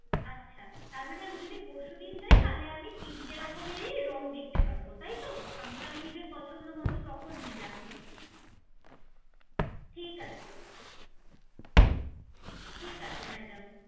আচ্ছা তার মানে আমি যদি পরশু দিন যায়, তাহলে আমি তিনটে রকমেরই রঙ দেখতে পারবো তাই তো? আমি তাহলে নিজের পছন্দ মতো তখন নিলাম